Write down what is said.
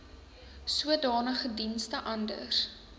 sodanige dienste anders